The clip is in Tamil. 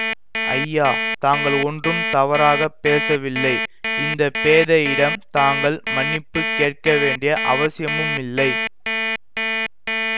ஐயா தாங்கள் ஒன்றும் தவறாக பேசவில்லை இந்த பேதையிடம் தாங்கள் மன்னிப்பு கேட்கவேண்டிய அவசியமுமில்லை